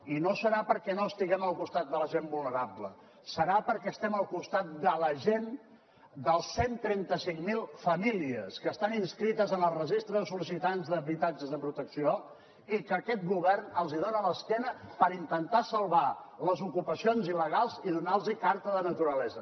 i no serà perquè no estiguem al costat de la gent vulnerable serà perquè estem al costat de la gent de les cent i trenta cinc mil famílies que estan inscrites en el registre de sol·licitants d’habitatges de protecció i als quals aquest govern els dona l’esquena per intentar salvar les ocupacions il·legals i donar los carta de naturalesa